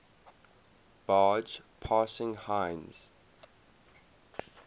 barge passing heinz